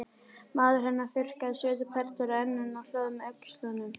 Maður hennar þurrkaði svitaperlur af enninu og hló með öxlunum.